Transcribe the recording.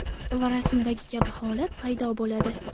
Va rasmdagi kabi holat paydo bo‘ladi.